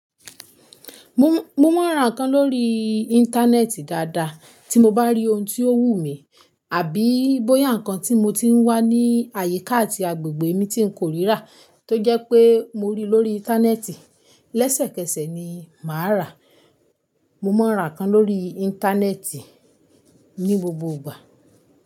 Mo, mo máa ń ra nǹkan lórí íńtánẹ́ẹ̀tì dáadáa tí mo bá rí ohun tí ó wù mí. Àbí bóyá nǹkan tí mo ti ń wá ní àyíká àti agbègbè mi tí ń kórira tó jẹ́ pé mo rí lórí íńtánẹ́ẹ̀tì. Lẹ́sẹ̀kẹsẹ̀ ni màá rà á. Mo máa ń ra nǹkan lórí íńtánẹ́ẹ̀tì ní gbogbo ìgbà.